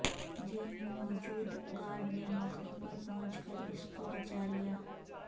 jail میں موجود guard نے موقعے پر پہنچ کر اس کو بچالیا